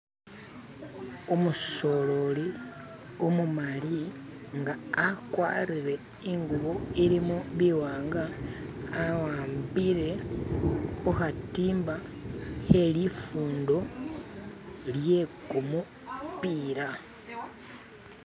Umusololi umumali nga akwarire ingubo ilimobiwanga awambile khukhatimba khelifundo lyekumupila.